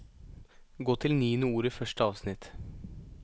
Gå til niende ord i første avsnitt